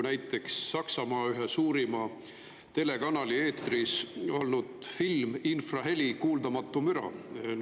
Näiteks Saksamaa ühe suurima telekanali eetris olnud film "Infraheli kuuldamatu müra".